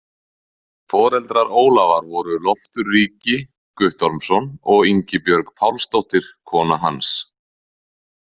Foreldrar Ólafar voru Loftur ríki Guttormsson og Ingibjörg Pálsdóttir kona hans.